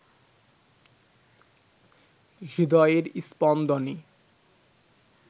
হৃদয়ের স্পন্দনে